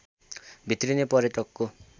भित्रिने पर्यटकको